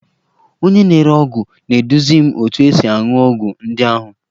Onye na-ere ọgwụ na-eduzi m otu esi aṅụ ọgwụ ndị ahụ